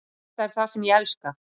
Þetta er það sem ég elska.